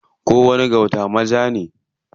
Kowani gauta ma ja ne.